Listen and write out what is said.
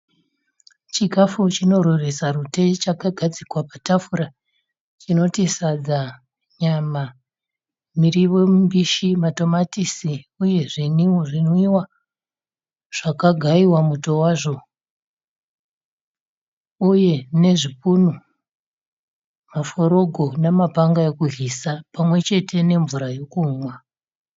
Chikafu chinorweresa rute chakagadzikwa patafura. Chinoti sadza, nyama, mirivo mimbishi, matomatisi uye zvinwiwa zvakagaiwa muto wazvo uye nezvipunu, maforogo namapanga okudyisa pamwe chete nemvura yokunwa.